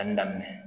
Danni daminɛ